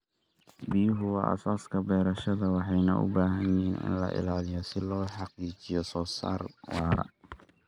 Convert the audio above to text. Biyaha waa aasaaska beerashada, waxayna u baahan yihiin in la ilaaliyo si loo xaqiijiyo soo saar waara.